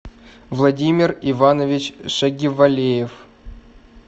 владимир иванович шагивалеев